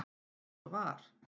Eins og var.